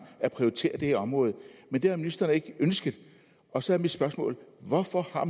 at prioritere det her område men det har ministeren ikke ønsket og så er mit spørgsmål hvorfor har